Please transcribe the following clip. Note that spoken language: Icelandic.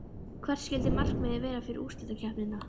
Hvert skyldi markmiðið vera fyrir úrslitakeppnina?